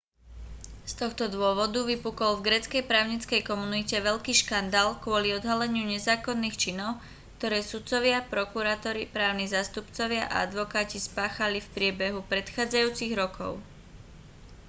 z tohto dôvodu vypukol v gréckej právnickej komunite veľký škandál kvôli odhaleniu nezákonných činov ktoré sudcovia prokurátori právni zástupcovia a advokáti spáchali v priebehu predchádzajúcich rokov